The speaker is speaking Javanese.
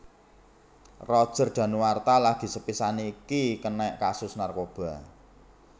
Roger Danuarta lagi sepisan iki kenek kasus narkoba